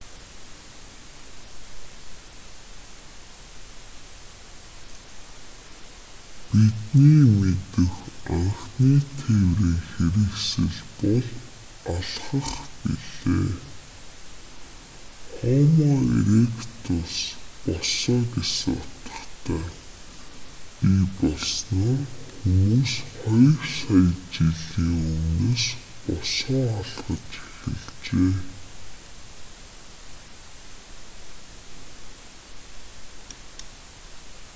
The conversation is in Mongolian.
бидний мэдэх анхны тээврийн хэрэгсэл бол алхах билээ. хомо эректус босоо гэсэн утгатай бий болсоноор хүмүүс хоёр сая жилийн өмнөөс босоо алхаж эхэлжээ